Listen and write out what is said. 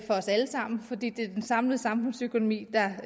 os alle sammen fordi det er den samlede samfundsøkonomi